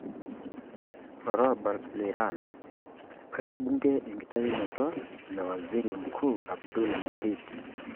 Olarabal Iran:Eibalie bunge enkitayunoto lo waziri mkuu Abdul Mahdi.